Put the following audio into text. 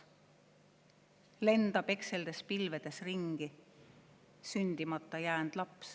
/ Lendab ekseldes pilvedes ringi / sündimata jäänd laps.